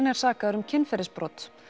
er sakaður um kynferðisbrot